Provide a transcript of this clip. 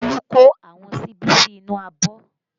Olu ko àwọn síbí sí inú abọ́